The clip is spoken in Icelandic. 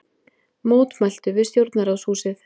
Mótmæltu við stjórnarráðshúsið